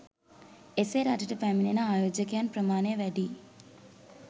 එසේ රටට පැමිණෙන ආයෝජකයන් ප්‍රමාණය වැඩි